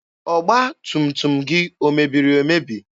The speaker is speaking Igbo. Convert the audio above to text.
Ọgba tum tum gị omebiri emebi?